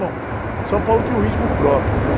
Bom, São Paulo tinha um ritmo próprio, né?